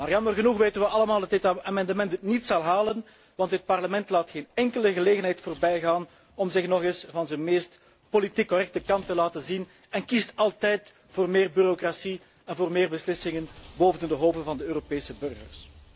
Jammer genoeg weten we allemaal dat dit amendement het niet zal halen, want dit Parlement laat geen enkele gelegenheid voorbijgaan om zich nog eens van zijn meest politiek correcte kant te laten zien en kiest altijd voor meer bureaucratie en voor meer beslissingen boven de hoofden van de Europese burgers.